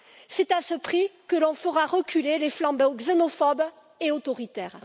C'est à ce prix que l'on fera reculer les flambeurs xénophobes et autoritaires.